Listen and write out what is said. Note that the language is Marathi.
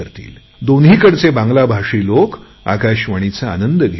दोन्हीकडचे बांगलाभाषी लोक आकाशवाणीचा आनंद घेतील